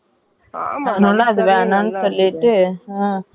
சரிப்பா நான் வைக்கவா சமையலை பாக்குறேன்.